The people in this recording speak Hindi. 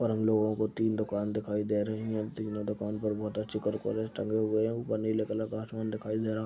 और हम लोगों को तीन दुकान दिखाई दे रहीं हैं। तीनो दुकान पर बहोत अच्छे करपरे टंगे हुए हैं। ऊपर नीले कलर का आसमान दिखाई दे रहा।